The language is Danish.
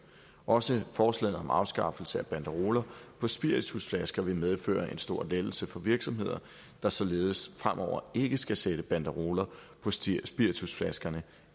også forslaget om afskaffelse af banderoler på spiritusflasker vil medføre en stor lettelse for virksomheder der således fremover ikke skal sætte banderoler på spiritusflaskerne